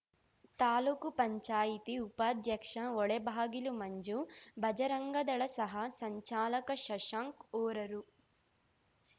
ತಾಲೂಕುಪಂಚಾಯತಿ ಉಪಾಧ್ಯಕ್ಷ ಹೊಳೆಬಾಗಿಲು ಮಂಜು ಬಜರಂಗದಳ ಸಹ ಸಂಚಾಲಕ ಶಶಾಂಕ್‌ ಹೊರರು